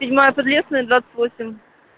седьмая подлесная двадцать восемь